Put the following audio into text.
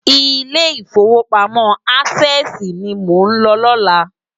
Ilé Ifówópámò Ásèsi ni mó n ló lòlá